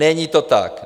Není to tak.